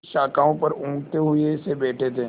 वे शाखाओं पर ऊँघते हुए से बैठे थे